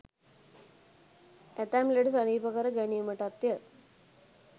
ඇතැම් ලෙඩ සනීප කර ගැනීමටත්ය.